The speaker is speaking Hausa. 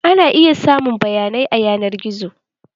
Ana iya samun bayanai a yanar gizo.